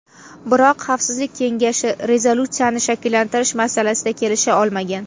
Biroq Xavfsizlik kengashi rezolyutsiyani shakllantirish masalasida kelisha olmagan.